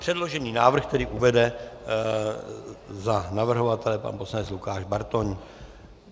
Předložený návrh tedy uvede za navrhovatele pan poslanec Lukáš Bartoň.